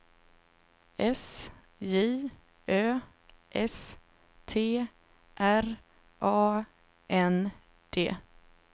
S J Ö S T R A N D